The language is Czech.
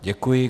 Děkuji.